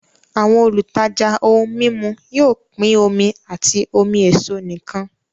Àwọn olùtajà ohun mímu yóò pín omi àti omi èso nìkan